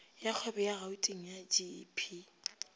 ya kgwebo ya gauteng gep